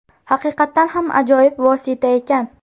Haqiqatdan ham ajoyib vosita ekan.